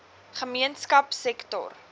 gemeenskapsektor